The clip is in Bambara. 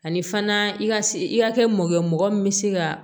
Ani fana i ka i ka kɛ mɔgɔ ye mɔgɔ min bɛ se ka